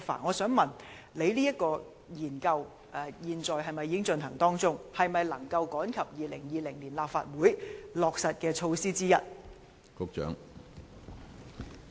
我想問局長，有關研究現時是否正在進行中，研究結果能否趕及成為在2020年立法會選舉中落實的措施之一？